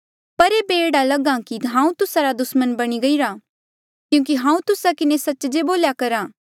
पर ऐबे एह्ड़ा लगा कि हांऊँ तुस्सा रा दुसमण बणी गईरा क्यूंकि हांऊँ तुस्सा किन्हें सच्च जे बोल्या करहा